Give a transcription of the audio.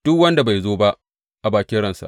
Duk wanda bai zo ba, a bakin ransa.